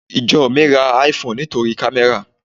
Ìjọ mi ra IPhone nítorí kamera.